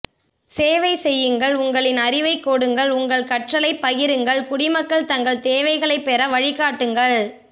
சேவை செய்யுங்கள் உங்களின் அறிவைக் கொடுங்கள் உங்களது கற்றலைப் பகிருங்கள் குடிமக்கள் தங்கள் தேவைகளை பெற வழிகாட்டுங்கள்